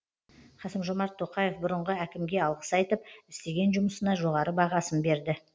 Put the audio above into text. қасым жомарт тоқаев бұрынғы әкімге алғыс айтып істеген жұмысына жоғары бағасын берді